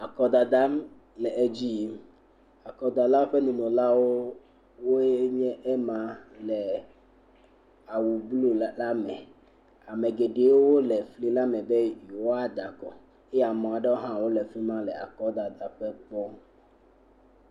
Akɔdada le edzi yi. Akɔdalawo ƒe nunɔlae nye ema le awu blɔ la me, ame geɖewo le awu blɔ la me be yewoada akɔ eye ame aɖewo hã le fi ma le akɔdada la kpɔm